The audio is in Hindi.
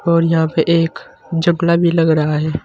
और यहां पर एक भी लग रहा है।